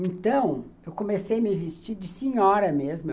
Então, eu comecei a me vestir de senhora mesmo.